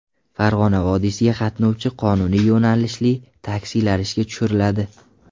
Farg‘ona vodiysiga qatnovchi qonuniy yo‘nalishli taksilar ishga tushiriladi.